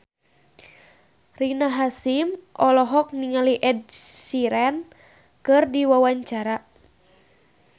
Rina Hasyim olohok ningali Ed Sheeran keur diwawancara